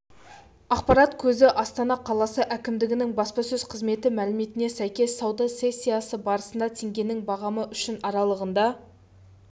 ақпарат көзі астана қаласы әкімдігінің баспасөз қызметі мәліметіне сәйкес сауда сессиясы барысында теңгенің бағамы үшін аралығында